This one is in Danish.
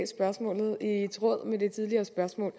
er i tråd med det tidligere spørgsmål